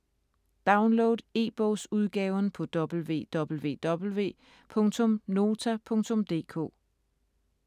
Download e-bogsudgaven på www.nota.dk